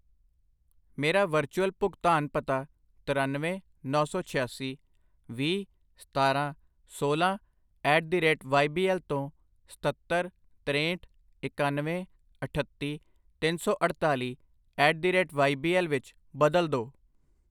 ਮੇਰਾ ਵਰਚੁਅਲ ਭੁਗਤਾਨ ਪਤਾ ਤਰਨਵੇਂ, ਨੌਂ ਸੌ ਛਿਆਸੀ, ਵੀਹ, ਸਤਾਰਾਂ, ਸੋਲਾਂ at the rate Y B L ਤੋਂ ਸਤੱਤਰ, ਤਰੇਹਠ, ਇਕਾਨਵੇਂ, ਅਠੱਤੀ, ਤਿੰਨ ਸੌ ਅੜਤਾਲੀ at the rate Y B L ਵਿੱਚ ਬਦਲੋ ਦੋ I